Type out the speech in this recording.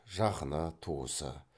жақыны туысы